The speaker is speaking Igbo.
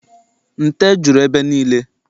Nte juru ebe niile.